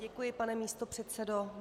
Děkuji, pane místopředsedo.